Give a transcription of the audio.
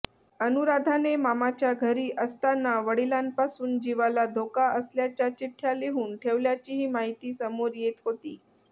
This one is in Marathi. अनुराधाने मामाच्या घरी असताना वडिलांपासून जिवाला धोका असल्याच्या चिठ्ठ्या लिहून ठेवल्याचीही माहिती समोर येत होती